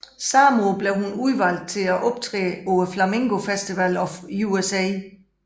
Samme år blev hun udvalgt til at optræde på Flamenco Festival of USA